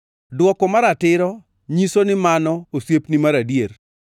Dwoko maratiro nyiso ni mano osiepni mar adier.